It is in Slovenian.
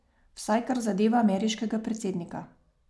Vsaj kar zadeva ameriškega predsednika.